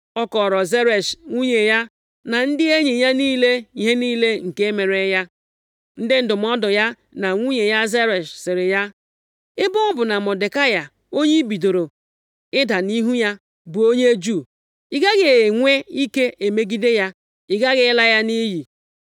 ọ kọọrọ Zeresh nwunye ya, na ndị enyi ya niile ihe niile nke mere ya. Ndị ndụmọdụ ya na nwunye ya Zeresh sịrị ya, “Ebe ọ bụ na Mọdekai, onye ị bidoro ịda nʼihu ya, bụ onye Juu, ị gaghị enwe ike emegide ya, ị ghaghị ịla nʼiyi.”